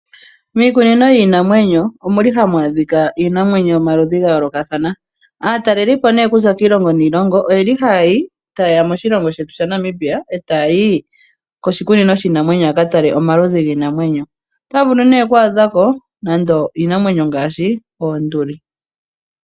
Miikunino yiinamwenyo ohamu adhika iinamwenyo yomaludhi ga yoolokathana. Aatalelipo okuza kiilongo niilongo ohaye ya moshilongo shetu shaNamibia e taya yi koshikunino shiinamwenyo ya ka tale omaludhi giinamwenyo. Otaya vulu oku adha ko nando iinamwenyo ngaashi oonduli.